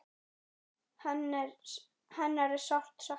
Hennar er sárt saknað.